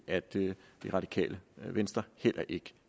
at det radikale venstre heller ikke